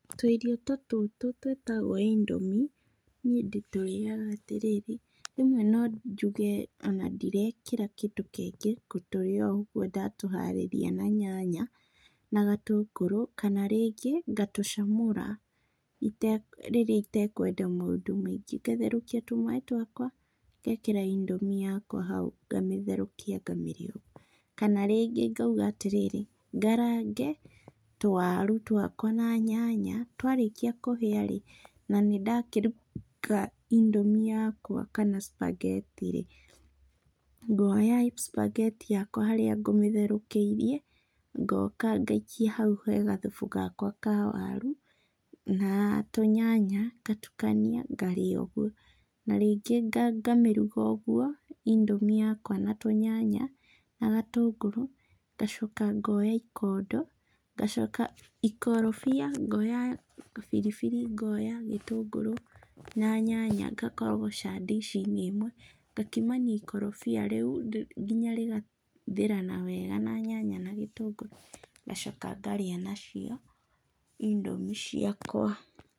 Tũirio tũtũ twĩtagwo Indomie niĩ ndĩtũrĩaga atĩrĩ, rĩmwe no njuge ona ndirekĩra kĩngĩ ngũtũria o ũguo ndatũharĩria na nyanya na gatũngũrũ, kana rĩngĩ ngatũcamũra rĩrĩa itekwenda maũndũ maingĩ ngatherũkia tũmaaĩ twakwa ngekĩra indomie yakwa hau ngamĩtherũkia kamĩrĩa, kana rĩngĩ ngauga atĩrĩrĩ ngarange tũwaru twaka na nyanya twarĩkia kũhia rĩ, na nĩ ndakĩruga indomie yakwa kana sphagetti rĩ, ngoya sphagetti yakwa harĩa ngũmĩtherũkĩirie ngoka ngaikia hau he gathubu gakwa ka waru na tũnyanya ngatukania ngarĩa ũguo, na rĩngĩ ngamĩruga ũguo indomie yakwa na tũnyanya na gatũngũrũ ngacoka ngoya ikondo, ngacoka ikorobia ngoya biribiri ngoya gĩtũngũrũ na nyanya ngakorogocania ndici-inĩ ĩmwe, ngakimania ikorobia rĩu nginya rĩgaithĩrana wega na nyanya na gĩtũngũrũ ngacoka ngarĩa nacio indomie ciakwa.